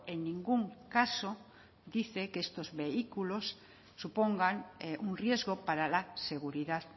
en ningún caso dice que estos vehículos supongan un riesgo para la seguridad